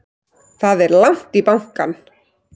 Það er langt í bankann!